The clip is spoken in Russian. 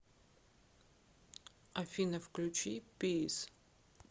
афина включи пис